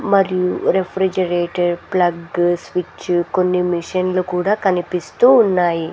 మరియు refrigerator flag switch కొన్ని machine లు కూడా కనిపిస్తూ ఉన్నాయి.